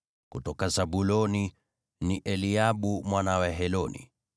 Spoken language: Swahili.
kutoka Zabuloni, ni Eliabu mwana wa Heloni;